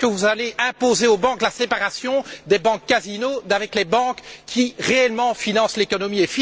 Quand allez vous imposer aux banques la séparation des banques casino d'avec les banques qui, réellement, financent l'économie.